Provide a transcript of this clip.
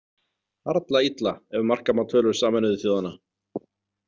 Harla illa ef marka má tölur Sameinuðu þjóðanna.